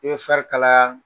farikalaya